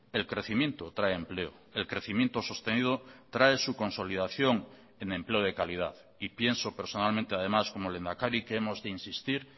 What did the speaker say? el crecimiento trae empleo el crecimiento sostenido trae su consolidación en empleo de calidad y pienso personalmente además como lehendakari que hemos de insistir